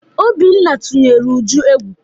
Obinna tụnyere Uju egwu.